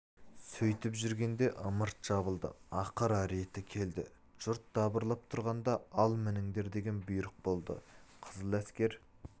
сөйтіп жүргенде ымырт жабылды ақыры реті келді жұрт дабырлап тұрғанда ал мініңдер деген бұйрық болды қызыл әскер